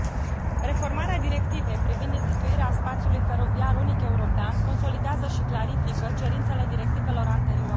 Reformarea directivei privind instituirea spațiului feroviar unic european consolidează și clarifică cerințele directivelor anterioare.